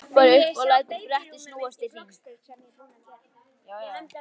Svo hopparðu upp og lætur brettið snúast í hring.